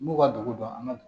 N b'u ka dugu dɔn an ka